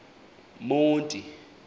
monti